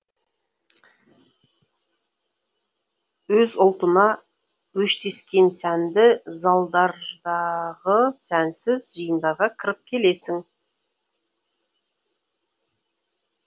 өз ұлтына өштескен сәнді залдардағы сәнсіз жиындарға кіріп келесін